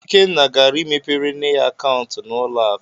Ikenna gara imepere nne ya akaụntụ na ụlọ akụ.